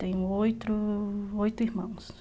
Tenho oito irmãos.